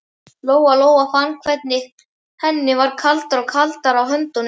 Lóa Lóa fann hvernig henni varð kaldara og kaldara á höndunum.